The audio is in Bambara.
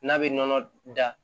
N'a bɛ nɔnɔ da